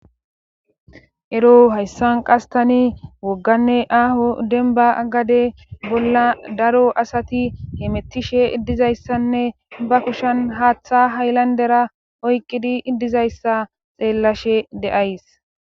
Ero hayssan qastani wogganne aho denba gade bolla daro asati hemettishe dizayssanne ba kushan haaththa haylandera oyqqidi dizayssa xeellashe de'ays